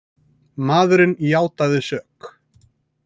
Maðurinn játaði sök